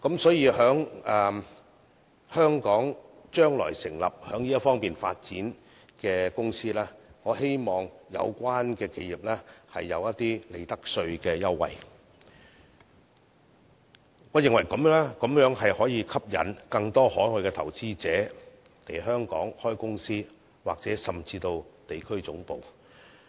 所以，對於將來在香港成立發展這方面的公司，我希望有關企業能享有利得稅務優惠，我認為此舉可吸引更多海外投資者來港開設公司或甚至地區總部。